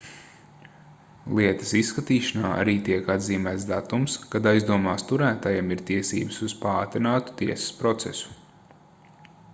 lietas izskatīšanā arī tiek atzīmēts datums kad aizdomās turētajam ir tiesības uz paātrinātu tiesas procesu